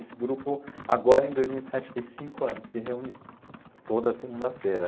Esse grupo agora em dois mil e sete fez cinco anos, se reúne toda segunda-feira.